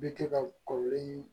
Bɛ kɛ ka kɔrɔlen